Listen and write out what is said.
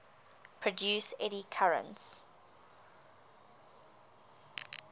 produce eddy currents